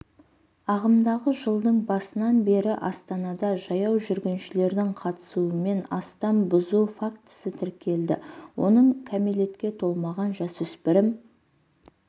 ағымдағы жылдың басынан бері астанада жаяу жүргіншілердің қатысуымен астам бұзу фактісі тіркелді оның кәмелетке толмаған жасөспірім